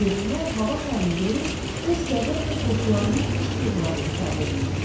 Yerlilər hava şarını görüb öz qəzəb və qorxularını qışqırıqlarla ifadə eləyirdilər.